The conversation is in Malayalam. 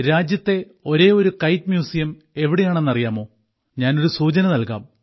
രാജ്യത്തിലെ ഒരേയൊരു കൈറ്റ് മ്യൂസിയം എവിടെയാണെന്നറിയാമോ ഞാൻ ഒരു സൂചന നൽകാം